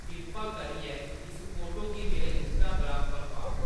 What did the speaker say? किरपा करियै इस फोटो गी मेरे इंस्टाग्राम पर पाओ